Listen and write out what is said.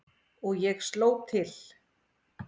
Og ég sló til.